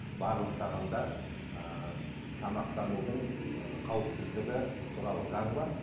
барлық тағамдар ыыы тамақтанудың ыыы қауіпсіздігі туралы заң бар